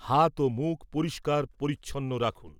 হাত ও মুখ পরিষ্কার পরিচ্ছন্ন রাখুন।